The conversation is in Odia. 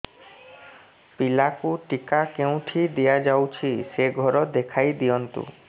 ପିଲାକୁ ଟିକା କେଉଁଠି ଦିଆଯାଉଛି ସେ ଘର ଦେଖାଇ ଦିଅନ୍ତୁ